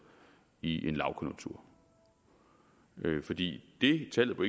i en lavkonjunktur fordi det tallet på